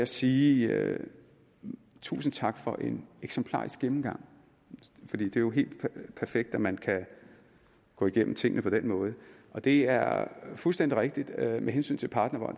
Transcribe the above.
sige tusind tak for en eksemplarisk gennemgang for det er jo helt perfekt at man kan gå igennem tingene på den måde og det er fuldstændig rigtigt at med hensyn til partnervold